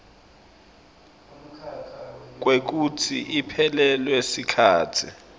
kwekutsi iphelelwe sikhatsi